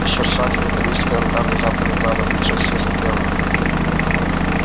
ещё шаг и металлическая рука внезапно легла на плечо сьюзен кэлвин